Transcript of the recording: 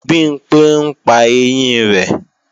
Bimpé ńpa ẹyín rẹ̀